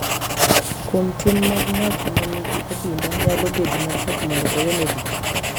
Kuom tim mag ng’at ma nigi adimba nyalo bedo matek mondo owene richo,